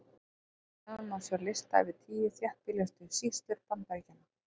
Hér fyrir neðan má sjá lista yfir tíu þéttbýlustu sýslur Bandaríkjanna.